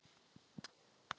Hár runni.